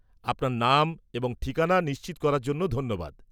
আপনার নাম এবং ঠিকানা নিশ্চিত করার জন্য ধন্যবাদ।